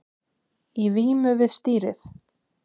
Í vímu við stýrið